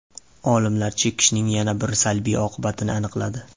Olimlar chekishning yana bir salbiy oqibatini aniqladi.